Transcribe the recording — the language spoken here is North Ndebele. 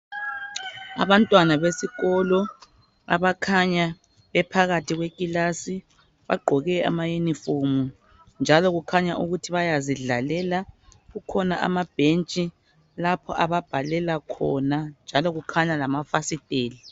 Abantwana besikolo ekilasini bagqoke amayunifomu njalo kukhanya ukuthi bayazidlalela kukhona amabhentshi lapho ababhalela khona njalo kukhanya lamafasitela.